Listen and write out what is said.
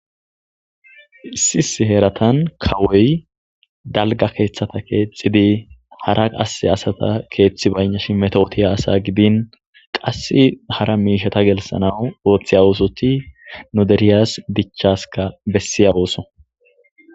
Issis heeratan kawoy dalga keeththata keexxidi hara qasse asata keeththi baynash metootiya asa gidin qass hara miishata gelssana ooththi awosoti nu deriyas dichaska bessiya ooso.